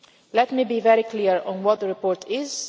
Let me be very clear on what the report